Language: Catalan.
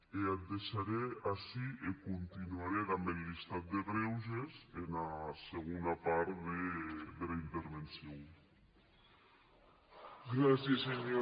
e ac deisharè ací e continuarè damb eth listat de grèuges ena segona part dera intervencion